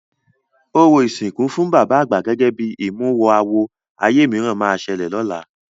Orò ìsìnkú fún bàbá àgbà gẹ́gẹ́ bí ìmúwọ-àwọ ayé mìíràn máa ṣẹlẹ̀ lọ́la.